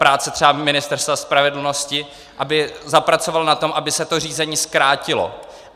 Práce třeba Ministerstva spravedlnosti, aby zapracovalo na tom, aby se to řízení zkrátilo.